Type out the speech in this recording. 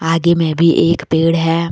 आगे में भी एक पेड़ है।